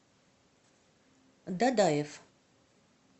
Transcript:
дадаев